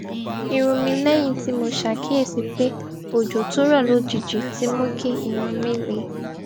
irun mi léyìn tí mo ṣàkíyèsí pé òjò tó rò lójijì ti mú kí irun mi le